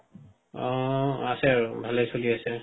অ.. আছে আৰু ভালেই আছে